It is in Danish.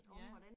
Ja